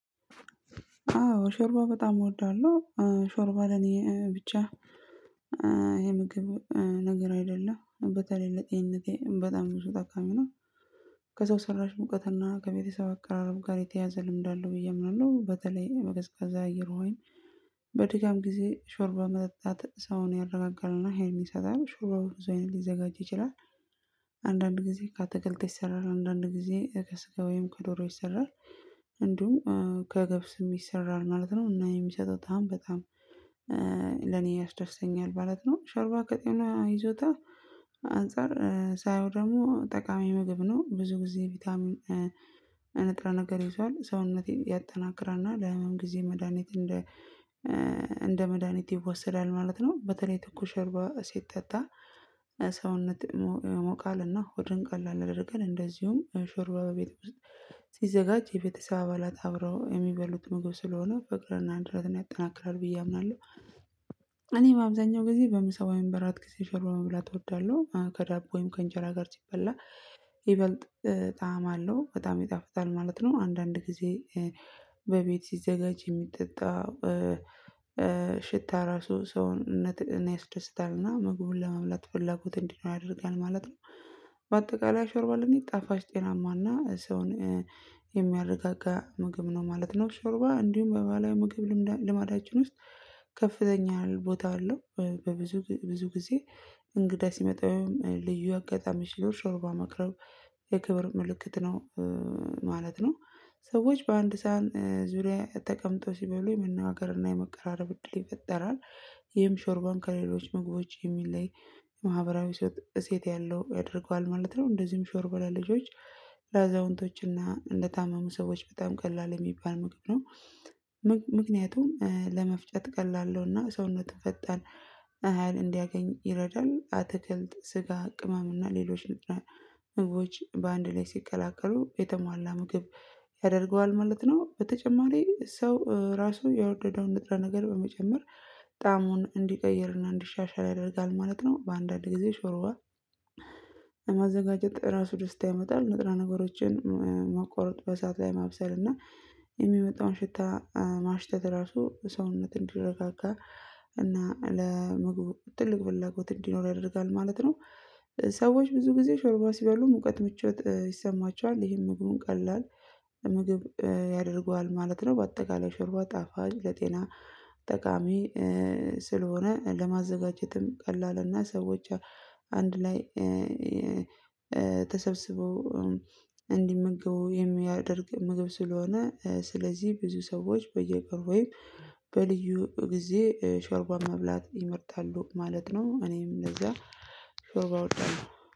አዎ ሾርባ በጣም እወዳለሁ ሾርባ ለኔ ብቻ የምግብ ነገር አይደለም በተለይ ለጤንነቴ በጣም ብዙ ጣካሚ ነው። ከሰው ሰራሽ ሙቀትና ከቤተሰብ አቀራረብ ጋር የተያያዘ ልምድ አለው ብዬ ምናምን ነው በተለይ በቀዝቃዛ አየር ወይም። በድጋም ጊዜ ሾርባ መጠጣት ሰውን ያረጋጋልና ሀይልን ይሰጣል ሾርባው በብዙ አይነት ሊዘጋጅ ይችላል። አንዳንድ ጊዜ ከአትክልት ይሰራል አንዳንድ ጊዜ ከስጋ ወይም ከዶሮ ይሰራል። እንዲሁ ከገብስም ይሰራል ማለት ነው። እና የሚሰጠው ጣዕም በጣም ለኔ ያስደስተኛል ማለት ነው። ሸርባ ከጤና ይዞታ አንፃር ሳየው ደግሞ ጠቃሚ ምግብ ነው። ብዙ ጊዜ ቪታሚን ነገር ይዟል ሰውነቴን ያጠናክራልና ለህመም ጊዜ መድሃኒት እንደ እንደ መድሃኒት ይወሰዳል ማለት ነው። በተለይ ትኩስ ሾርባ ሲጠጣ ሰውነት ይሞቃልና ሆድን ቀላል ያደርጋል። እንደዚሁም ሾርባ በቤት ውስጥ ሲዘጋጅ የቤተሰብ አባላት አብረው የሚበሉት ምግብ ስለሆነ ፍቅርና አንድነትን ያጠናክራል ብዬ አምናለሁ። እኔ በአብዛኛው ጊዜ በምሳ ወይም በእራት ጊዜ ሾርባ መብላት እወዳለሁ። ከዳቦ ወይም ከእንጀራ ጋር ሲበላ ይበልጥ ጣዕም አለው በጣም ይጣፍጣል ማለት ነው። አንዳንድ ጊዜ በቤት ሲዘጋጅ የሚጠጣ ሽታው ራሱ ሰውነትን ያስደስታልና ምግቡን ለመምላት ፍላጎት እንዲኖር ያደርጋል ማለት ነው። በአጠቃላይ ሾርባ ለኔ ጣፋጭ ጤናማና ሰውን የሚያረጋጋ ምግብ ነው ማለት ነው። ሾርባ እንዲሁም በባላዊ ምግብ ልማዳችን ውስጥ ከፍተኛ ቦታ አለው። በብዙ ብዙ ጊዜ እንግዳ ሲመጣ ልዩ አጋጣሚ ሾርባ ማቅረብ የክብር ምልክት ነው ማለት ነው። ሰዎች በአንድ ሳህን ዙሪያ ተቀምጠው ሲበሉ የመነጋገርና የመቀራረብ እድል ይፈጠራል። ይህም ሾርባን ከሌሎች ምግቦች የሚለይ ማህበራዊ እሴት ያለው ያደርገዋል ማለት ነው። እንደዚህም ሾርባ ለልጆች ለአዛውንቶችና ለታመሙ ሰዎች በጣም ቀላል የሚባል ምግብ ነው። ምክንያቱም ለመፍጨት ቀላል ነውና ሰውነትህ ፈጣን ሀይል እንዲያገኝ ይረዳል። አትክልት ስጋ ቅመም እና ሌሎች ምግቦች በአንድ ላይ ሲቀላቀሉ የተሟላ ምግብ ያደርገዋል ማለት ነው። በተጨማሪ ሰው ራሱ የወደደውን ንጥረ ነገር በመጨመር እንዲቀይርና እንዲሻሻል ያደርጋል ማለት ነው። በአንዳንድ ጊዜ ሾርባ ማዘጋጀት ራሱ ደስታ ያመጣል። ንጥረ ነገሮችን መቁረጥ በእሳት ላይ ማብሰል እና የሚመጣውን ሽታ ማሽተት ራሱ ሰውነት እንዲረጋጋ እና ለምግብ ትልቅ ፍላጎት እንዲኖር ያደርጋል ማለት ነው። ሰዎች ብዙ ጊዜ ሾርባ ሲባሉ ሙቀት ምቾት ይሰማቸዋል ይሄም ምግቡን ቀላል ምግብ ያደርገዋል ማለት ነው። በአጠቃላይ ሽርባ ጣፋጭ ለጤና ጠቃሚ ለማዘጋጀትም ቀላልና ሰዎች አንድ ላይ ተሰብስበው እንዲመገቡ የሚያደርግ ምግብ ስለሆነ። ስለዚህ ብዙ ሰዎች በየቀኑ ወይም በልዩ ጊዜ ሾርባን መብላት ይመርጣሉ ማለት ነው። እኔም እንደዛ ሶ ባወጣሁ